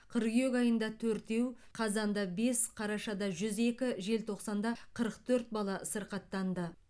қыркүйек айында төртеу қазанда бес қарашада жүз екі желтоқсанда қырық төрт бала сырқаттанды